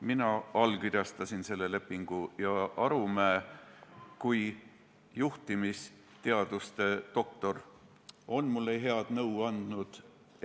Mina allkirjastasin selle lepingu ja Arumäe kui juhtimisteaduste doktor on mulle head nõu andnud.